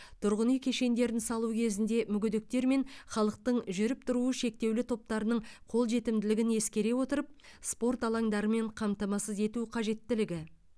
тұрғын үй кешендерін салу кезінде мүгедектер мен халықтың жүріп тұруы шектеулі топтарының қолжетімділігін ескере отырып спорт алаңдарымен қамтамасыз ету қажеттілігі